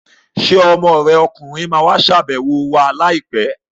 Ṣé ọmọ rẹ ọkùnrin ma wá ṣàbẹ̀wọ̀ wa láìpẹ́ l?